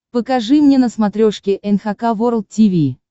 покажи мне на смотрешке эн эйч кей волд ти ви